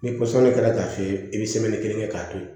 Ni pɔsɔni kɛra k'a f'i ye i bɛ kelen kɛ k'a to yen